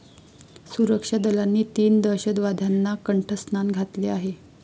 सुरक्षा दलांनी तीन दहशतवाद्यांना कंठस्नान घातले आहे.